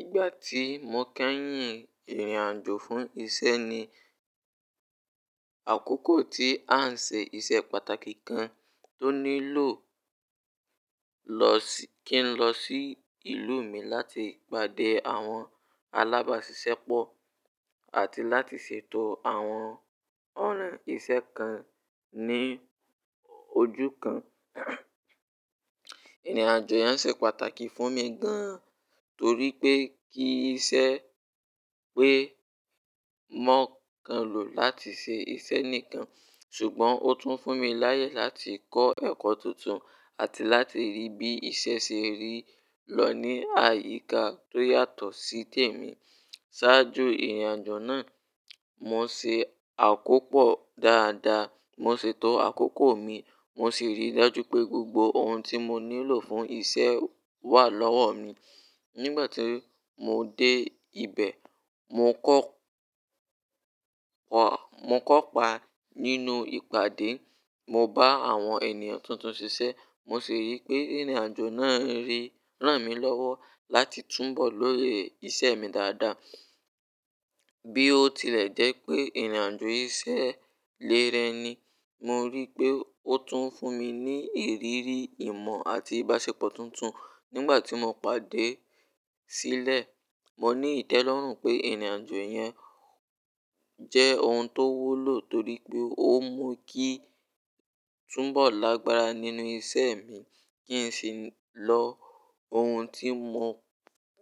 Ìgbà tí mo kẹ́yìn ìrìnàjò fún iṣẹ́ ni àkókò tí à ń ṣe iṣẹ́ pàtàkì kan tó nílò kí n lọ sí ìlú mi láti pàdé àwọn alábáṣiṣẹ́pọ̀ àti láti sètò àwọn ọ̀nà iṣẹ́ kan ní ojú kan. Ìrìnàjò yẹn ṣe pàtàkì fún mi gan torí pé kí iṣẹ́ pé mo kán lò láti ṣe iṣẹ́ nìkan ṣùgbọ́n ó tún fún mi láyè láti kọ́ ẹ̀kọ́ tuntun àti láti rí bí iṣẹ́ ṣe rí lọ ní àyíká tó yàtọ̀ sí tèmi. Ṣáájú ìrìnàjò náà mo ṣe àkópọ̀ dáadáa, mo ṣètò àkókò mi mo sì rí i dájú pé gbogbo ohun tí mo nílò fún iṣẹ́ wà lọ́wọ́ mi. Nígbà tí mo dé ibẹ̀, mo ko mo kopa nínú ìpàdé, mo bá àwọn ènìyàn tuntun ṣiṣẹ́ mo sì rí pé ìrìnàjò náà ń ri ran mi lọ́wọ́ láti túnbọ̀ lóye iṣẹ́ mi dáadáa. Bí ó tilẹ̀ jẹ́ pé ìrìnàjò ísẹ lẹ rẹ ni, mo rí pé ó tún fún mi ní ìrírí ìmọ̀ àti ìbáṣepọ̀ tuntun. Nígbà tí mo pade sílẹ̀, mo ní ìtẹ́lọ́rùn pé ìrìnàjò yẹn jẹ́ ohun tó wúlò torí pé ó mú kí n túnbọ̀ lágbára nínú iṣẹ́ mi kí n sì lo ohun tí mo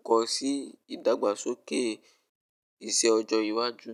kọ́ sí ìdàgbàsókè iṣẹ́ ọjọ́ iwájú.